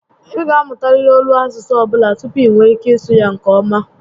Ị ga amụtariri olu asụsụ ọbụla tupu i nwee ike ịsụ ya nke ọma